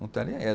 Não está nem aí.